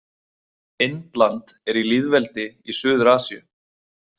Indland er í lýðveldi í Suður-Asíu.